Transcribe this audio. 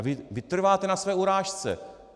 A vy trváte na své urážce.